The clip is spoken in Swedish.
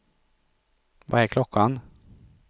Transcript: Vad är klockan